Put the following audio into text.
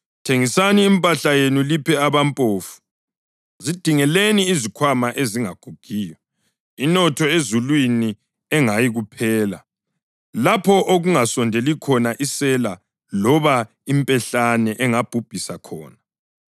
Thengisani impahla yenu liphe abampofu. Zidingeleni izikhwama ezingagugiyo, inotho ezulwini engayikuphela, lapho okungasondeli khona isela loba impehlane engabhubhisi khona.